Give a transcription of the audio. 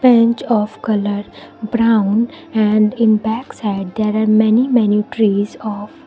bench of colour brown and in backside there are many many trees of --